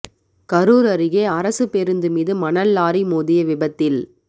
கரூர் அருகே அரசு பேருந்து மீது மணல் லாரி மோதிய விபத்தில்